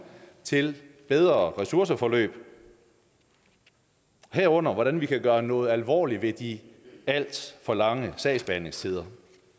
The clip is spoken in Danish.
til bedre ressourceforløb herunder hvordan vi kan gøre noget alvorligt ved de alt for lange sagsbehandlingstider